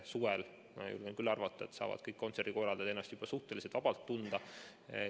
Suvel, ma julgen küll arvata, saavad kõik kontserdikorraldajad ennast juba suhteliselt vabalt tunda.